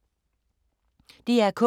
DR K